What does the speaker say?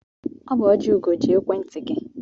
Ọ bụ Ojiugo ji ekwentị gị.